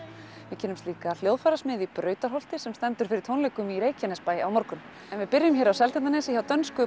við kynnumst líka hljóðfærasmið í Brautarholti sem stendur fyrir tónleikum í Reykjanesbæ á morgun en við byrjum hér á Seltjarnarnesi hjá dönsku